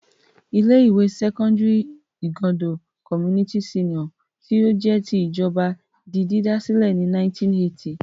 Ilé-ìwé sẹ́kọ́ndárì Igando Community Senior tí ó jẹ́ ti ìjọba di dídá sílẹ̀ ní 1980.